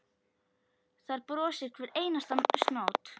Þar brosir hver einasta snót.